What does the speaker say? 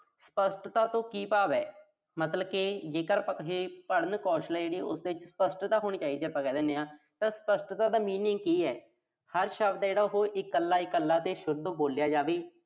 ਸਪੱਸ਼ਟਤਾ ਤੋਂ ਕੀ ਭਾਵ ਆ। ਮਤਲਬ ਕਿ ਜੇਕਰ ਆਪਾਂ ਕਹੀਏ, ਪੜ੍ਹਨ ਕੌਸ਼ਲ ਆ ਜਿਹੜੀ, ਉਹਦੇ ਚ ਸਪੱਸ਼ਟਤਾ ਹੋਣੀ ਚਾਹੀਦਾ ਆ, ਆਪਾਂ ਕਹਿ ਦਿਨੇ ਆਂ। ਤਾਂ ਸਪੱਸ਼ਟਤਾ ਦਾ meaning ਕੀ ਆ। ਹਰ ਸ਼ਬਦ ਆ ਜਿਹੜਾ ਉਹੋ, ਇਕੱਲਾ-ਇਕੱਲਾ ਤੇ ਸ਼ੁੱਧ ਬੋਲਿਆ ਜਾਵੇ।